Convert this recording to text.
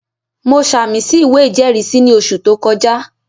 Mo sàmì sí ìwé ìjẹ́rìísí ní oṣù tó kọjá